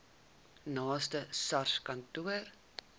naaste sars kantoor